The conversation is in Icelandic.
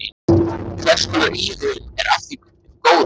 Hvers konar íhugun er af hinu góða.